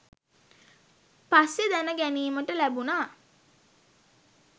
පස්සේ දැන ගැනීමට ලැබුණා.